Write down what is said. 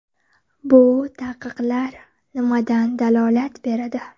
Bu taqiqlar nimadan dalolat beradi?